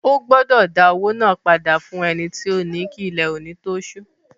Ó gbọdọ̀ dá padà owó náà padà fún ẹni tí ó ni kí ilẹ̀ òní tó sú.